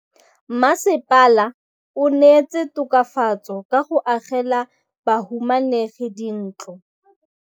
Mmasepala o neetse tokafatsô ka go agela bahumanegi dintlo.